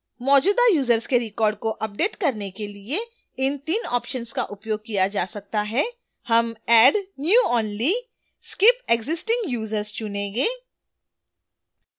मौजूदा यूजर्स के records को अपडेट करने के लिए इन 3 options का उपयोग किया जा सकता है हम add new only skip existing users चुनेंगे